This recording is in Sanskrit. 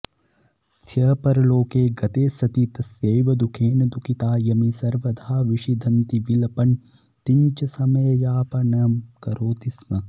स्य परलोके गते सति तस्यैव दुःखेन दुःखिता यमी सर्वदा विषीदन्ती विलपन्तीञ्च समययापनं करोति स्म